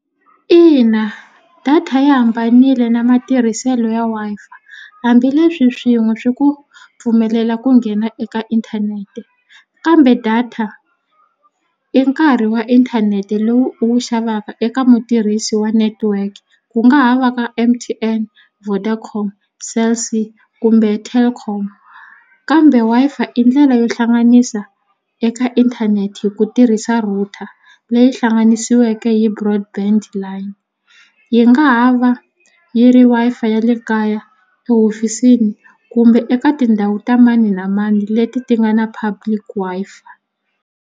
Ina data yi hambanile na matirhiselo ya Wi-Fi hambileswi swin'we swi ku pfumelela ku nghena eka inthanete kambe data i nkarhi wa inthanete lowu u wu xavaka eka mutirhisi wa network ku nga ha va ka M_T_N Vodacom Cell_c kumbe Telkom kambe Wi-Fi i ndlela yo hlanganisa eka inthanete hi ku tirhisa router leyi hlanganisiweke hi broad band line yi nga ha va yi ri Wi-Fi ya le kaya ehofisini kumbe eka tindhawu ta mani na mani leti ti nga na public Wi-Fi.